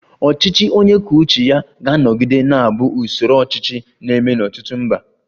Ọchịchị onye kwuo uche ya ga-anọgide na-abụ usoro ọchịchị na-eme n'ọtụtụ mba